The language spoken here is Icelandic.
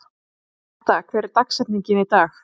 Metta, hver er dagsetningin í dag?